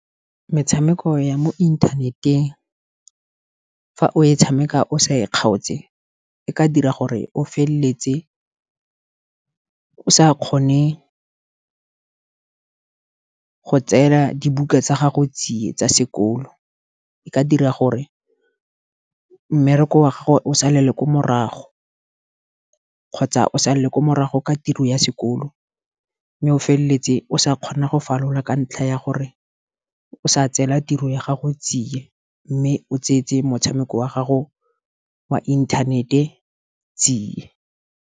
Metshameko ya mo internet-eng fa o e tshameka o sa e kgaotse, e ka dira gore o feleletse o sa kgone go tseela dibuka tsa gago tsiye tsa sekolo. E ka dira gore mmereko wa salele ko morago, kgotsa o salele ko morago ka tiro ya sekolo. Mme o feleletse o sa kgona go falola ka ntlha ya gore o sa tseela tiro ya gago tsiye, mme o tsentse motshameko wa gago wa inthanete tsie.